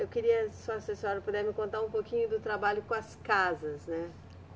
Eu queria só se a senhora puder me contar um pouquinho do trabalho com as casas, né?